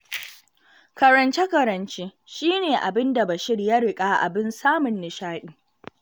Karance-karance, shi ne abin da Bashir ya riƙa abin samun nishaɗi